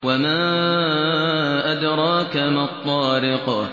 وَمَا أَدْرَاكَ مَا الطَّارِقُ